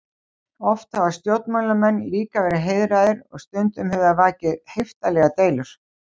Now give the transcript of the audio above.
Oft hafa stjórnmálamenn líka verið heiðraðir og stundum hefur það vakið heiftarlegar deilur.